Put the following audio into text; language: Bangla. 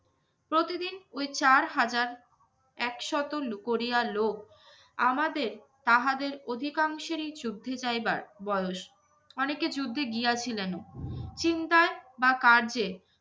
প্রতিদিন ওই চার হাজার একশত লুকরিয়া লোক আমাদের তাহাদের অধিকাংশেরই যুদ্ধে যাইবার বয়স। অনেকে যুদ্ধে গিয়েছিলেনও। চিন্তায় বা কার্যে